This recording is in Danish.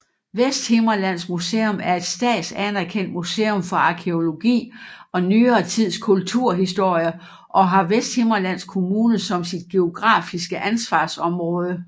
Vesthimmerlands Museum er et statsanerkendt museum for arkæologi og nyere tids kulturhistorie og har Vesthimmerlands Kommune som sit geografiske ansvarsområde